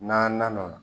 N'an na na o la